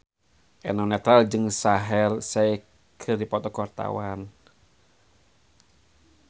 Eno Netral jeung Shaheer Sheikh keur dipoto ku wartawan